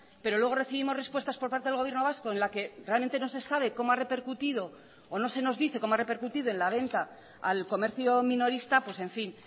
pero luego recibimos respuestas por parte del gobierno vasco en la que realmente no se sabe cómo ha repercutido o no se nos dice cómo ha repercutido en la venta al comercio minorista pues en fin